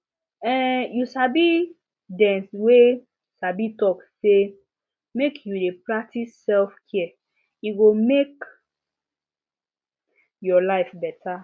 um you sabi dem wey sabi talk say make you dey practice selfcare e go make your life better